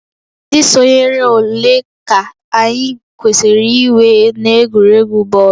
Ndị sonyere ole ka anyị kwesịrị inwe n'egwuregwu bọọlụ?